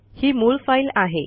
ही मूळ फाईल आहे